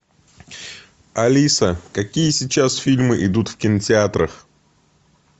алиса какие сейчас фильмы идут в кинотеатрах